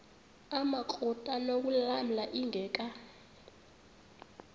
amakrot anokulamla ingeka